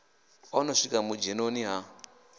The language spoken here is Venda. o no swika vhudzhenoni ha